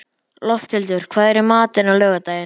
Lofthildur, hvað er í matinn á laugardaginn?